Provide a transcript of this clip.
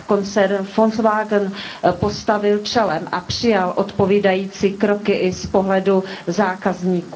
koncern Volkswagen postavil čelem a přijal odpovídající kroky i z pohledu zákazníků.